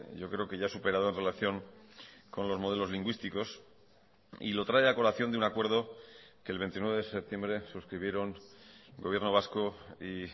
yo creo que ya superado en relación con los modelos lingüísticos y lo trae a colación de un acuerdo que el veintinueve de septiembre suscribieron gobierno vasco y